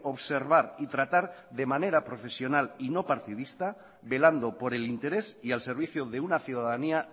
observar y tratar de manera profesional y no partidista velando por el interés y al servicio de una ciudadanía